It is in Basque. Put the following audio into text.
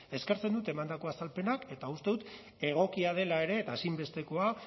eskertzen dut emandako azalpenak eta uste dut egokia dela ere eta ezinbestekoa